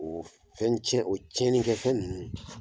U fɛn tiɲɛ o tiɲɛnikɛfɛn ninnu